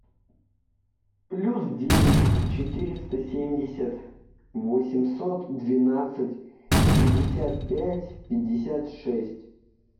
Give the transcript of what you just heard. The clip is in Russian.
плюс девять четыреста семьдесят восемьсот двенадцать пятьдесят пять пятьдесят шесть